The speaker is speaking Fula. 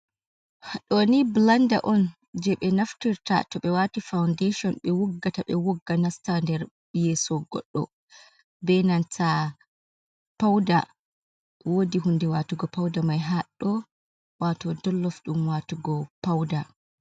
Ɗoni bilanda on j, e ɓe naftirta to ɓe wati faudashon, ɓe wuggata ɓe wugga nasta nder yeeso godɗo ɓe nanta pauda, woodi di hunnde watugo pauda mai, haddo wato dollof ɗum watugo pauda.